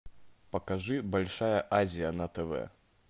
покажи большая азия на тв